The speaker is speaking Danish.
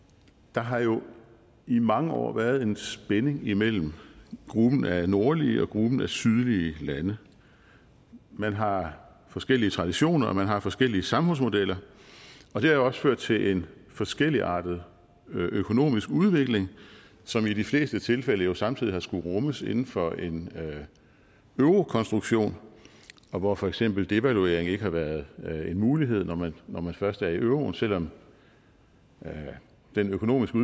der har jo i mange år været en spænding imellem gruppen af nordlige og gruppen af sydlige lande man har forskellige traditioner og man har forskellige samfundsmodeller og det har jo også ført til en forskelligartet økonomisk udvikling som i de fleste tilfælde jo samtidig har skullet rummes inden for en eurokonstruktion hvor for eksempel devaluering ikke har været en mulighed når man først er i euroen selv om den økonomiske